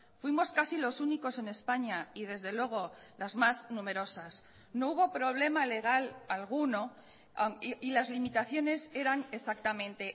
fuimos casi los únicos en españa y desde luego las más numerosas no hubo problema legal alguno y las limitaciones eran exactamente